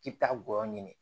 K'i bi taa gɔyɔ ɲini